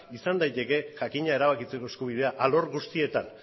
izan daiteke jakina erabakitzeko eskubidea alor guztietan